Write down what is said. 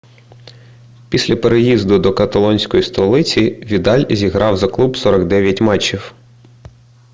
після переїзду до каталонської столиці відаль зіграв за клуб 49 матчів